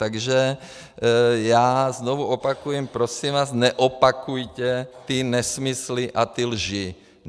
Takže já znovu opakuji, prosím vás, neopakujte ty nesmysly a ty lži.